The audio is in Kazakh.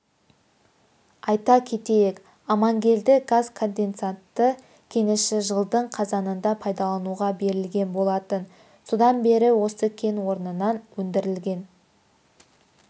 айта кетейік амангелді газконденсатты кеніші жылдың қазанында пайдалануға берілген болатын содан бері осы кен орнынан өндірілген